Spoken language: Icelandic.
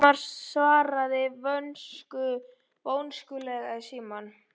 Ruth og Lindu takast að ljúka stúdentsprófi.